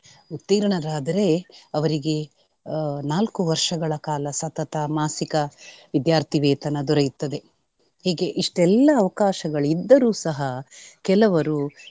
ಉತ್ತೀರ್ಣರಾದರೆ ಅವರಿಗೆ ಆಹ್ ನಾಲ್ಕು ವರ್ಷಗಳ ಕಾಲ ಸತತ ಮಾಸಿಕ ವಿದ್ಯಾರ್ಥಿ ವೇತನ ದೊರೆಯುತ್ತದೆ. ಹೀಗೆ ಇಷ್ಟೆಲ್ಲಾ ಅವಕಾಶಗಳು ಇದ್ದರೂ ಸಹ ಕೆಲವರು .